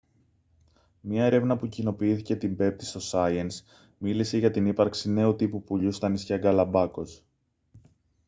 μια έρευνα που κοινοποιήθηκε την πέμπτη στο science μίλησε για την ύπαρξη νέου τύπου πουλιού στα νησιά γκαλαπάγκος